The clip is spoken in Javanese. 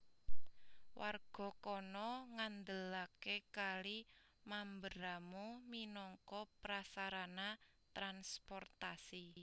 Warga kana ngandelaké Kali Mamberamo minangka prasarana transportasi